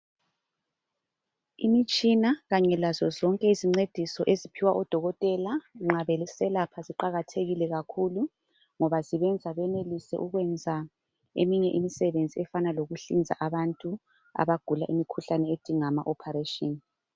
Imitshina kanye lazo zonke izincediso eziphiwa odokotela nxa beselapha ziqakathekile kakhulu ngoba zibenza benelise ukwenza eminye imisebenzi efana lokuhlinza abantu abagula imikhuhlane edinga ama operation